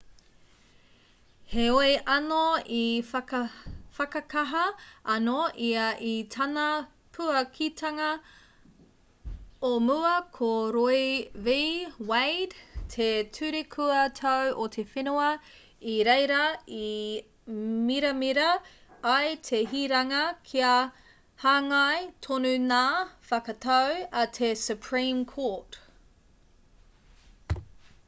heoi anō i whakakaha anō ia i tāna puakitanga o mua ko roe v wade te ture kua tau o te whenua i reira i miramira ai te hiranga kia hāngai tonu ngā whakatau a te supreme court